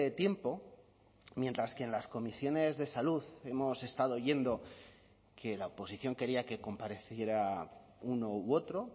tiempo mientras que en las comisiones de salud hemos estado oyendo que la oposición quería que compareciera uno u otro